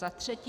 Za třetí -